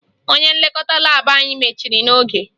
Onye nlekọta laabụ anyị mechiri n'oge